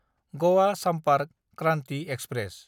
Goa Sampark Kranti express